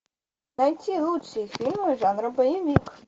найти лучшие фильмы жанра боевик